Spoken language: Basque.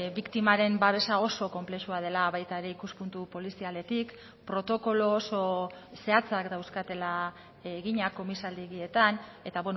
biktimaren babesa oso konplexua dela baita ere ikuspuntu polizialetik protokolo oso zehatzak dauzkatela eginak komisaldegietan eta